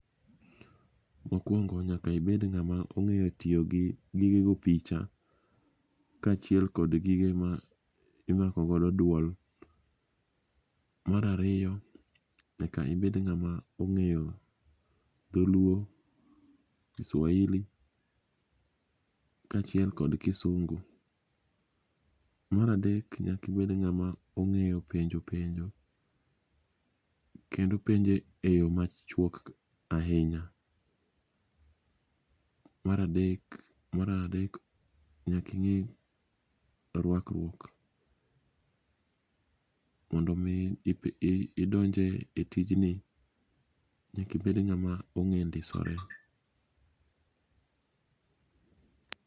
Mokwongo, nyaka ibed ng'ama ong'eyo tiyogi gige go picha kaachiel kod gige ma imakogodo dwol. Mar ariyo, nyaka ibed ng'ama ong'eyo dholuo, kiswahili kaachiel kod kisungu. Mar adek, nyaka ibed ng'ama ong'eyo penjo penjo kendo penjo e yo machuok ahinya. Mar adek, nyaking'e rwakruok mondo omi idonj e tijni nyaka ibed ng'ama ong'e ndisore.